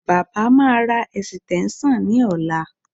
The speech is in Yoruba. Baba máa ra ẹ̀sìtẹ́ńṣọ̀n ní ọ̀la